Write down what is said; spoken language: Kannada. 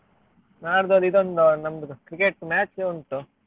ನಾಡ್ದು ಅದು ಇದೊಂದು ನಮ್ದು cricket match ಉಂಟು.